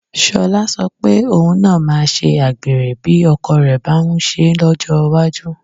Sọlá sọ pé òun náà máa ṣe àgbèrè bí ọkọ rẹ̀ bá ń ṣe é lọ́jọ́ iwájú